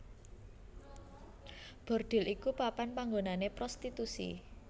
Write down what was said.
Bordhil iku papan panggonané prostitusi